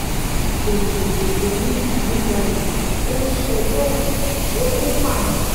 òjò òjò ń digun jalè ó ń ṣègbè òkùnkùn ó tún pààyàn